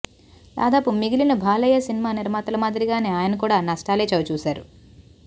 దాదాపు మిగిలిన బాలయ్య సినిమా నిర్మాతల మాదిరిగానే ఆయన కూడా నష్టాలే చవిచూసారు